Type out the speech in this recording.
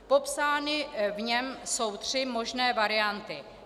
Popsány v něm jsou tři možné varianty.